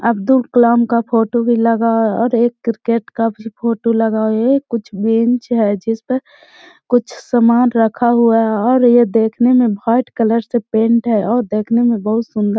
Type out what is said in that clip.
अब्दुल कलाम का फोटो भी लगा है और एक क्रिकेट का भी फोटो लगा हुआ है। कुछ बेंच है जिस पर कुछ सामान रखा हुआ है और ये देखने में वाइट कलर से पेंट है और देखने में बहोत सुंदर --